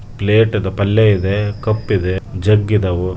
plate ಅಲ್ಲೇ ಪಲ್ಯ ಇದೆ ಕಪ್ ಇದೆ ಜಗ್ ಇದಾವು --